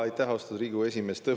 Aitäh, austatud Riigikogu esimees!